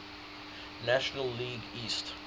national league east